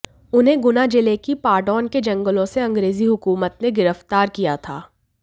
उन्हें गुना जिले की पाडौन के जंगलों से अंग्रेजी हुकूमत ने गिरफ्तार किया था